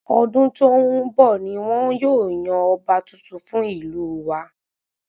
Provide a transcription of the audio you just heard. Ọdún tó n bọ ní wọn yóò yan ọba tuntun fún ìlú wa